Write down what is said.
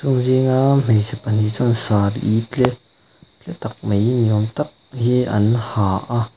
Chung zinga hmeichhe pahnih chuan sari tle tle tak mai ni âwm tak hi an ha a.